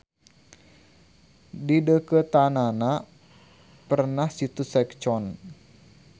Di deukeuteunnana perenah situ Seok-Chon.